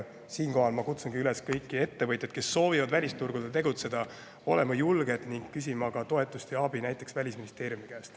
Siinkohal ma kutsungi üles kõiki ettevõtjaid, kes soovivad välisturgudel tegutseda, olema julged ning küsima toetust ja abi näiteks Välisministeeriumilt.